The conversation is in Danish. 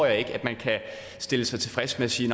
at man kan stille sig tilfreds med at sige